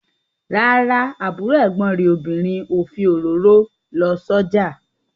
Rárá, àbúrò ẹ̀gbọ́n rẹ̀ obìnrin ò fi òróró lọ sójà